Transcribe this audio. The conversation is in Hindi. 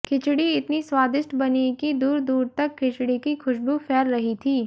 खिचड़ी इतनी स्वादिष्ट बनी की दूर दूर तक खिचड़ी की ख़ुशबू फैल रही थी